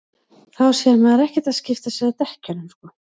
þá er maður ekkert að skipta sér að dekkjunum sko